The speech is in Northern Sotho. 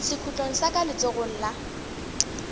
sekhutlong sa ka letsogong la